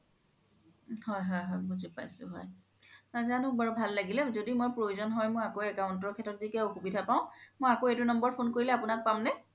হয় হয় বুজি পাইছো হয় নাজানো বাৰু ভাল লাগিলে য্দি মই প্ৰয়োজ্ন হয় আকৌ মই account ৰ সেত্ৰত য্দি কিবা অসুবিধা পাও মই আকৌ এইতো number ত phone কৰিলে আপোনাক পাম নে